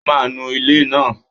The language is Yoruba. O máa nu ilẹ̀ náà!